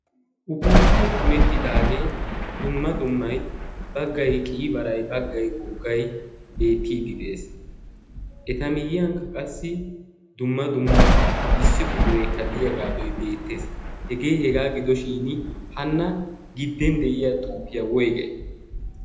punettidaagee dumma dummai baggai qiyi barai baggai ooggai beettiiddi de'ees. eta miyyiyankka qassi dumma dumma issi quxuree kaddiyaa gaadoi deettees. hegee hegaa gidoshin hanna gidden de'iya xuukiyaa woygay?